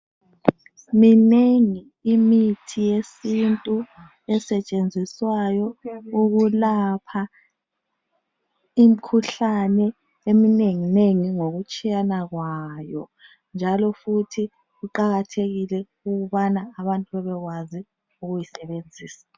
Minengi imithi yesintu esetshenziswayo ukwelapha imikhuhlane eminenginengi ngokutshiyana kwayo njalo futhi kuqakathekile ukubana abantu bebekwazi ukuyisebenzisa.